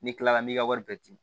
N'i kilala n'i ka wari bɛɛ di